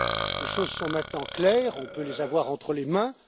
Les choses sont maintenant claires, on peut les avoir entre les mains.